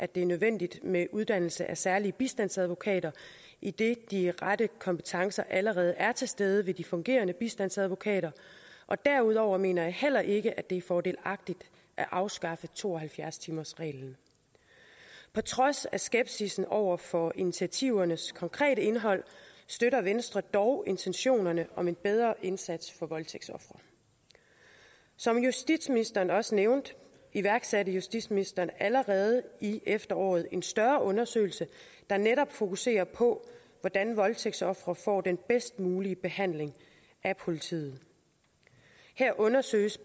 det er nødvendigt med en uddannelse af særlige bistandsadvokater idet de rette kompetencer allerede er til stede ved de fungerende bistandsadvokater derudover mener jeg heller ikke at det er fordelagtigt at afskaffe to og halvfjerds timersreglen på trods af skepsissen over for initiativernes konkrete indhold støtter venstre dog intentionerne om en bedre indsats for voldtægtsofre som justitsministeren også nævnte iværksatte justitsministeren allerede i efteråret en større undersøgelse der netop fokuserer på hvordan voldtægtsofre får den bedst mulige behandling af politiet her undersøges